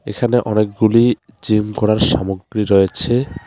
এখানে অনেকগুলি জিম করার সামগ্রী রয়েছে।